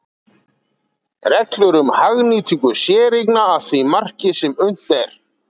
Reglur um hagnýtingu séreigna að því marki sem unnt er.